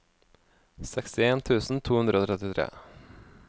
sekstien tusen to hundre og trettitre